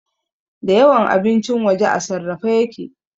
Da yawan abincin waje a sarrafe yake